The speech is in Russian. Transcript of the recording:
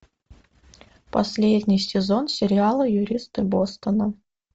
последний сезон сериала юристы бостона